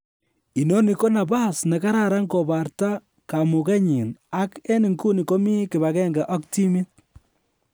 Inoni ko nabas ne kararan kobarta kamugenyin ak en nguni komi kibagenge ak timit"